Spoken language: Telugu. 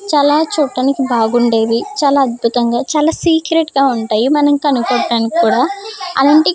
చాలా చూడటానికి బాగుండేవి చాలా అద్భుతంగా చాలా సీక్రెట్ గా ఉంటాయి మనం కనుక్కోవడానికి కూడా అలాంటి --